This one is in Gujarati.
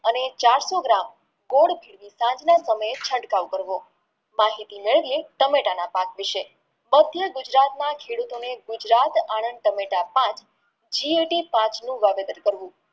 અને ચારસો ગ્રામ માહિતી મેળવીયે ટામેટાના પાક વિષે માધ્ય ગુજરાતના ખેડૂતોને ગુજરાત આનંદ ટામેટા પાંચ વાવેતર કર્યું